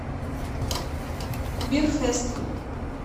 бирфэст